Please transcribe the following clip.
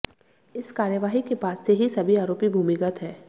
इस कार्यवाही के बाद से ही सभी आरोपी भूमिगत हैं